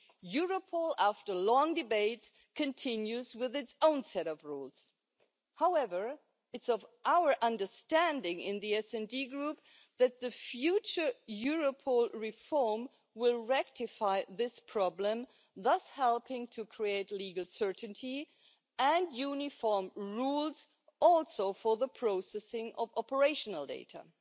Europol, after long debates, continues to have its own set of rules. However, it is our understanding in the SD Group that the future Europol reform will rectify this problem, thus helping to create legal certainty and uniform rules, including for the processing of operational data.